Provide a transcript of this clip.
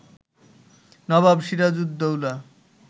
Nawab Sirajuddaulah